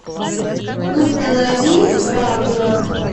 установи дракула